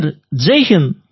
sir Jai Hind